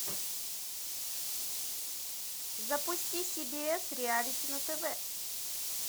запусти си би эс реалити на тв